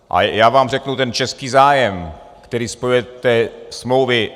A já vám řeknu ten český zájem, který spojuje ty smlouvy.